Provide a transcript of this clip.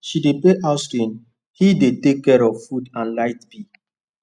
she dey pay house rent he dey take care of food and light bill